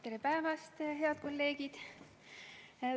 Tere päevast, head kolleegid!